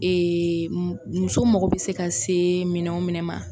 muso mago bɛ se ka se minɛn o minɛn ma.